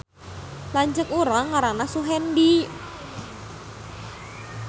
Lanceuk urang ngaranna Suhendi